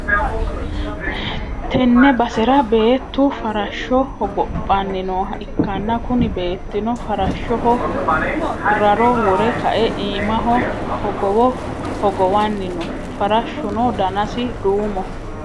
tenne basera beeettu farashsho hogophanni nooha ikkanna, kuni beettino farashshoho raro wore kae iimaho hogowo hogowanni no, farashshuno danasi duumoho,.